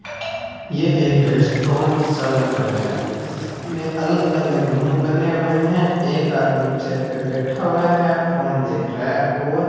ये एक रेस्ट्रोन सा लग रहा है इसमें अलग अलग रूम बने हुए हैं एक आदमी चेयर पे बैठा हुआ है फोन देख रहा है और --